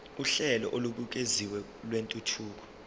uhlelo olubukeziwe lwentuthuko